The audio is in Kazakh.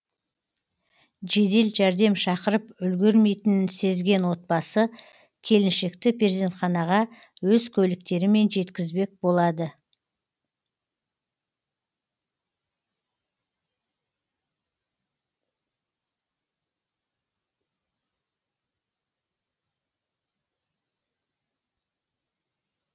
жедел жәрдем шақырып үлгермейтінін сезген отбасы келіншекті перзентханаға өз көліктерімен жеткізбек болады